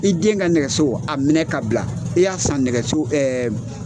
I den ka nɛgɛso a minɛ k'a bila. i y'a san nɛgɛso